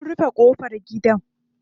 Sun rufe ƙofar gidan.